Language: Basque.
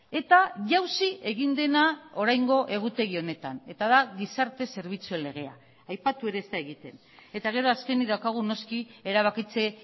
eta jauzi egin dena oraingo egutegi honetan eta da gizarte zerbitzuen legea aipatu ere ez da egiten eta gero azkenik daukagu noski erabakitze